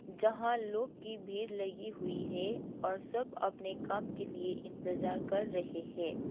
जहां लोग की भीड़ लगी हुई है और सब अपने काम के लिए इंतजार कर रहे है।